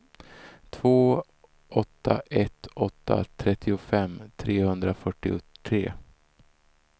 två åtta ett åtta trettiofem trehundrafyrtiotre